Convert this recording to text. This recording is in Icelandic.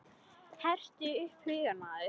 Hertu upp hugann maður!